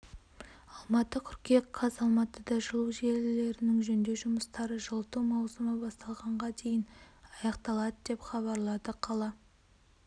алматы қыркүйек қаз алматыда жылу желілерінің жөндеу жұмыстары жылыту маусымы басталғанға дейін аяқталады деп хабарлады қала